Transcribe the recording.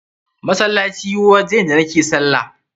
Masallaci waje ne da nake sallah.